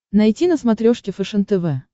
найти на смотрешке фэшен тв